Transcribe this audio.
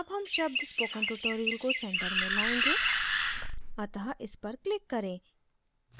अब हम शब्द spoken tutorial को centre में लाएंगे अतः इस पर click करें